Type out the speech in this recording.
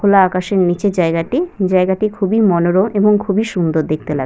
খোলা আকাশের নিচে জায়গাটি জায়গাটি খুবই মনোরম এবং খুবই সুন্দর দেখতে লাগ--